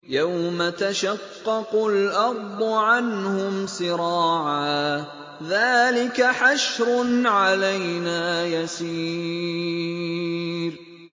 يَوْمَ تَشَقَّقُ الْأَرْضُ عَنْهُمْ سِرَاعًا ۚ ذَٰلِكَ حَشْرٌ عَلَيْنَا يَسِيرٌ